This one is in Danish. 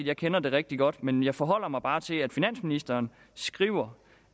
jeg kender det rigtig godt men jeg forholder mig bare til at finansministeren skriver